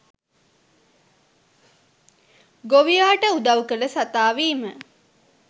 ගොවියාට උදවු කල සතා වීම.